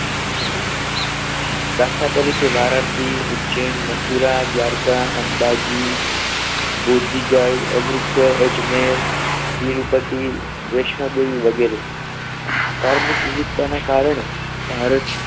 દાખલા તરીકે વારાણસી ઉજ્જૈન મથુરા દ્વારકા અંબાજી બુદ્ધિગાય અમૃતસર અજમેર તિરુપતિ વૈષ્ણવદેવી વગેરે ધાર્મિક વિવિધતા ના કારણે ભારત